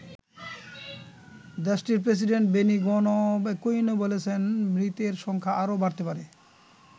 দেশটির president Benigno Aquino বলেছেন মৃতের সংখ্যা আরও বাড়তে পারে।